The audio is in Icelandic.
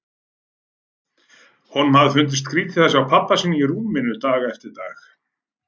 Honum hafði fundist skrítið að sjá pabba sinn í rúminu dag eftir dag.